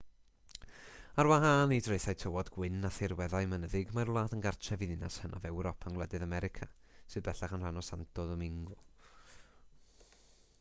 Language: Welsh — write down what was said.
ar wahân i draethau tywod gwyn a thirweddau mynyddig mae'r wlad yn gartref i ddinas hynaf ewrop yng ngwledydd america sydd bellach yn rhan o santo domingo